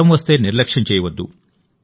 జ్వరం వస్తే నిర్లక్ష్యం చేయవద్దు